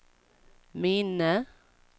minne